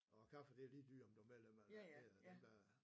Og kaffe det er lige dyrt om du er medlem eller ej det er dem der